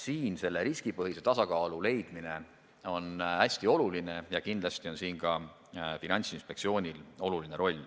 Siin on riskipõhise tasakaalu leidmine hästi oluline ja kindlasti on selleski Finantsinspektsioonil oluline roll.